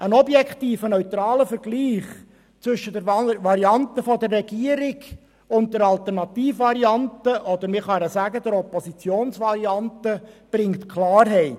Einen objektiven, neutralen Vergleich zwischen der Regierungs- und der Alternativvariante – oder man kann sagen der Oppositionsvariante – bringt Klarheit.